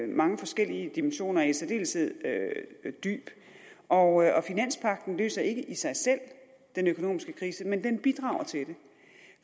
mange forskellige dimensioner i særdeleshed dyb og finanspagten løser ikke i sig selv den økonomiske krise men den bidrager til